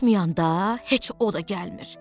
Tutmayanda heç o da gəlmir.